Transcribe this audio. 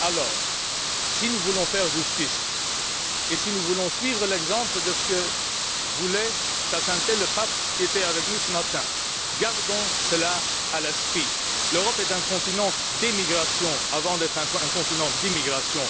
Alors, si nous voulons être justes, si nous voulons suivre l'exemple de ce que voulait sa Sainteté le Pape, qui était avec nous ce matin, gardons cela à l'esprit l'Europe est un continent d'émigration avant d'être un continent d'immigration.